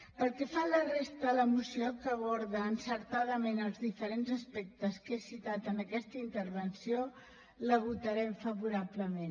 pel que fa a la resta de la moció que aborda encertadament els diferents aspectes que he citat en aquesta intervenció la votarem favorablement